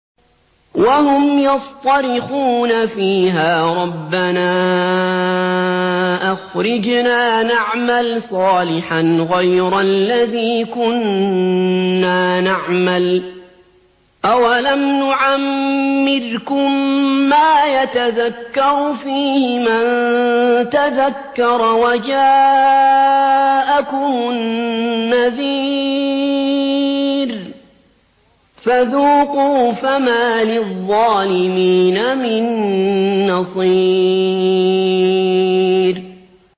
وَهُمْ يَصْطَرِخُونَ فِيهَا رَبَّنَا أَخْرِجْنَا نَعْمَلْ صَالِحًا غَيْرَ الَّذِي كُنَّا نَعْمَلُ ۚ أَوَلَمْ نُعَمِّرْكُم مَّا يَتَذَكَّرُ فِيهِ مَن تَذَكَّرَ وَجَاءَكُمُ النَّذِيرُ ۖ فَذُوقُوا فَمَا لِلظَّالِمِينَ مِن نَّصِيرٍ